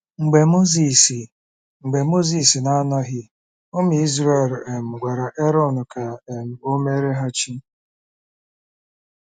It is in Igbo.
Mgbe Mozis Mgbe Mozis na-anọghị, ụmụ Izrel um gwara Erọn ka um o meere ha chi.